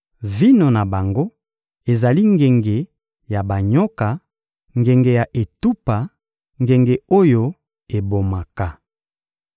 Vino na bango ezali ngenge ya banyoka, ngenge ya etupa, ngenge oyo ebomaka.